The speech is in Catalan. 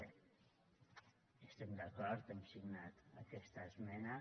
bé hi estem d’acord hem signat aquesta esmena